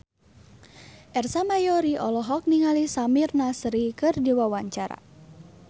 Ersa Mayori olohok ningali Samir Nasri keur diwawancara